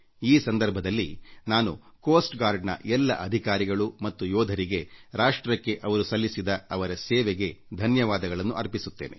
ಈ ಸಂದರ್ಭದಲ್ಲಿ ನಾನು ಕರಾವಳಿ ಕಾವಲು ಪಡೆಯ ಎಲ್ಲ ಅಧಿಕಾರಿಗಳು ಮತ್ತು ಯೋಧರಿಗೆ ರಾಷ್ಟ್ರಕ್ಕೆ ಅವರು ಸಲ್ಲಿಸುತ್ತಿರುವ ಸೇವೆಗೆ ಧನ್ಯವಾದಗಳನ್ನು ಅರ್ಪಿಸುತ್ತೇನೆ